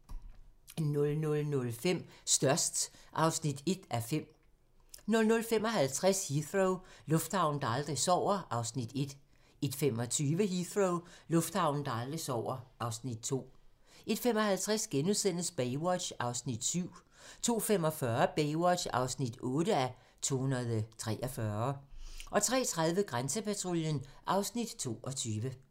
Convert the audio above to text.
00:05: Størst (1:5) 00:55: Heathrow - lufthavnen, der aldrig sover (Afs. 1) 01:25: Heathrow - lufthavnen, der aldrig sover (Afs. 2) 01:55: Baywatch (7:243)* 02:45: Baywatch (8:243) 03:30: Grænsepatruljen (Afs. 22)